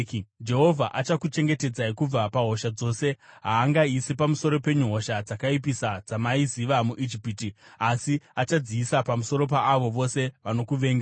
Jehovha achakuchengetedzai kubva pahosha dzose. Haangaisi pamusoro penyu hosha dzakaipisa dzamaiziva muIjipiti, asi achadziisa pamusoro paavo vose vanokuvengai.